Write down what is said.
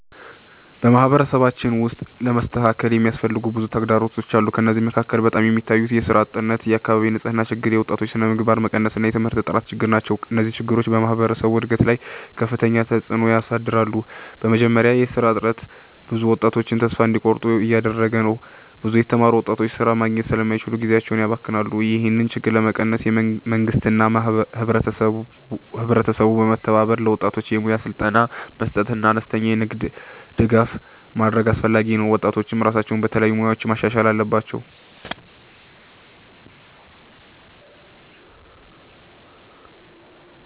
በማህበረሰባችን ውስጥ ለመስተካከል የሚያስፈልጉ ብዙ ተግዳሮቶች አሉ። ከእነዚህ መካከል በጣም የሚታዩት የሥራ እጥረት፣ የአካባቢ ንፅህና ችግር፣ የወጣቶች ስነምግባር መቀነስ እና የትምህርት ጥራት ችግር ናቸው። እነዚህ ችግሮች በማህበረሰቡ እድገት ላይ ከፍተኛ ተፅዕኖ ያሳድራሉ። በመጀመሪያ የሥራ እጥረት ብዙ ወጣቶችን ተስፋ እንዲቆርጡ እያደረገ ነው። ብዙ የተማሩ ወጣቶች ሥራ ማግኘት ስለማይችሉ ጊዜያቸውን ያባክናሉ። ይህን ችግር ለመቀነስ መንግስትና ህብረተሰቡ በመተባበር ለወጣቶች የሙያ ስልጠና መስጠትና አነስተኛ የንግድ ድጋፍ ማድረግ አስፈላጊ ነው። ወጣቶችም ራሳቸውን በተለያዩ ሙያዎች ማሻሻል አለባቸው።